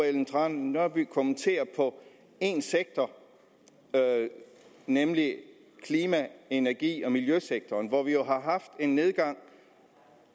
ellen trane nørby kommentere én sektor nemlig klima energi og miljøsektoren hvor vi jo har haft en nedgang